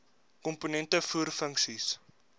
komponente voer funksies